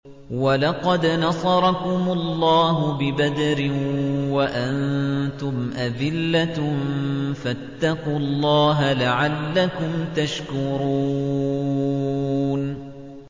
وَلَقَدْ نَصَرَكُمُ اللَّهُ بِبَدْرٍ وَأَنتُمْ أَذِلَّةٌ ۖ فَاتَّقُوا اللَّهَ لَعَلَّكُمْ تَشْكُرُونَ